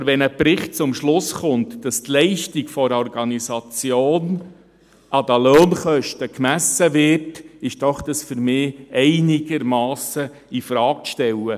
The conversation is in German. Aber wenn ein Bericht zum Schluss kommt, dass die Leistung einer Organisation an den Lohnkosten gemessen wird, ist dies für mich einigermassen infrage zu stellen.